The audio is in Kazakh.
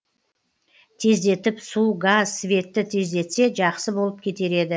тездетіп су газ светті тездетсе жақсы болып кетер еді